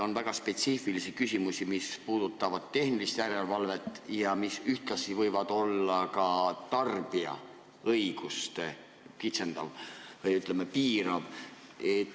On väga spetsiifilisi küsimusi, mis puudutavad tehnilist järelevalvet ja mis ühtlasi võivad olla tarbija õigusi kitsendavad või piiravad.